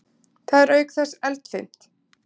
Það er auk þess eldfimt.